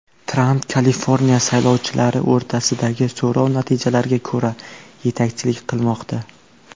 Tramp Kaliforniya saylovchilari o‘rtasidagi so‘rov natijalariga ko‘ra yetakchilik qilmoqda.